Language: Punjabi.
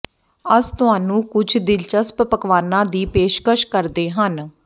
ਅਸ ਤੁਹਾਨੂੰ ਕੁਝ ਦਿਲਚਸਪ ਪਕਵਾਨਾ ਦੀ ਪੇਸ਼ਕਸ਼ ਕਰਦੇ ਹਨ